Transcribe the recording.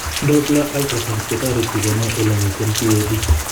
Doppler ultrasound kotoreti kenai ele miten p.a.d